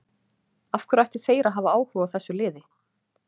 Af hverju ættu þeir að hafa áhuga á þessu liði?